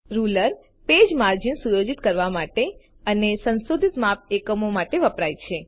ruler page margin સુયોજિત કરવા માટે અને સંશોધિત માપ એકમો માટે વપરાય છે